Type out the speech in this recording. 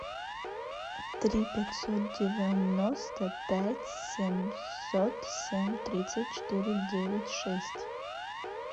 три пятьсот девяносто пять семьсот семь тридцать четыре девять шесть